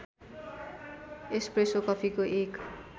espresso कफीको एक